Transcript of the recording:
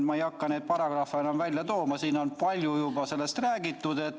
Ma ei hakka neid paragrahve enam välja tooma, siin on palju juba sellest räägitud.